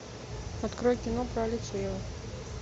открой кино про алексеева